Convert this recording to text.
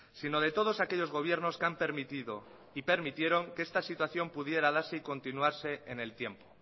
sino de todos aquellos gobiernos que han permitido y permitieron que esta situación pudiera darse y continuarse en el tiempo